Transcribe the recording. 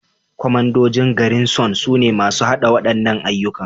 Kwamandojin Garrison sune masu haɗa waɗannan ayyuka